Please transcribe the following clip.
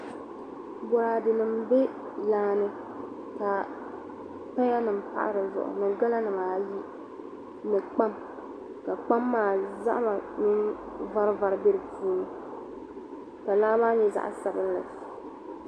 bɔraadenima m-be laa ni ka payanima pahi di zuɣu ni galanima ayi ni kpaam ka kpaam maa zahima mini varivari be di puuni ka laa nyɛ zaɣ' sabilinli